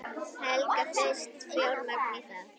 Helga: Fæst fjármagn í það?